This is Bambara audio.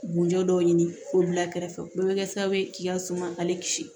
Bunjɔ dɔw ɲini k'o bila kɛrɛfɛ o bɛɛ bɛ kɛ sababu ye k'i ka suma k'ale kisi